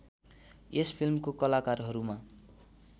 यस फिल्मको कलाकारहरूमा